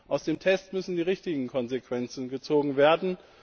Aus dem Test müssen die richtigen Konsequenzen gezogen werden.